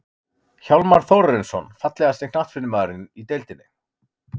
Hjálmar Þórarinsson Fallegasti knattspyrnumaðurinn í deildinni?